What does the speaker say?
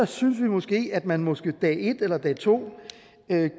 synes vi at man måske dag et eller dag to